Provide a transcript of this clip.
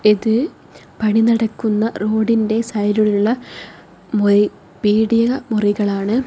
ഇത് പണി നടക്കുന്ന റോഡിൻറെ സൈഡിലുള്ള മൊയ് പീടിക മുറികളാണ്.